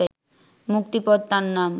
মুক্তিপদ তার নাম